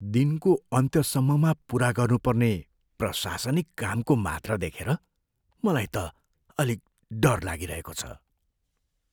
दिनको अन्त्यसम्ममा पुरा गर्नुपर्ने प्रशासनिक कामको मात्रा देखेर मलाई त अलिक डर लागिरहेको छ।